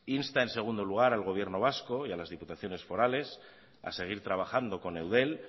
insta en segundo lugar al gobierno vasco y a las diputaciones forales a seguir trabajando con eudel